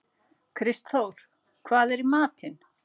Kristþór, hvað er í matinn?